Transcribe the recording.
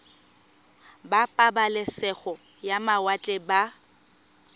ba pabalesego ya mawatle ba